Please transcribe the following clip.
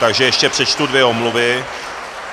Takže ještě přečtu dvě omluvy.